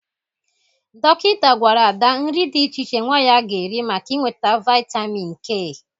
Dọkịta gwara Ada nri dị iche iche nwa ya ga-eri maka inweta vaịtamin K.